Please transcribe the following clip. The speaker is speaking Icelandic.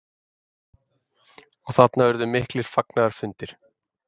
Og þarna urðu miklir fagnaðarfundir?